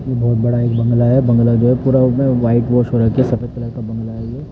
ये बहुत बड़ा एक बंगला है बंगला जो है पूरा उसमें व्हाइट वाश हो रखी है सफ़ेद कलर का बंगला है ये।